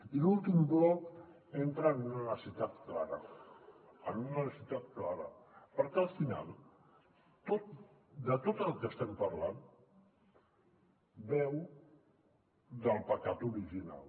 i l’últim bloc entra en una necessitat clara en una necessitat clara perquè al final tot el que estem parlant beu del pecat original